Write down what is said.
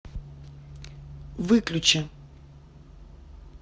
выключи